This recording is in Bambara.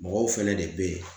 Mɔgɔw fɛnɛ de be yen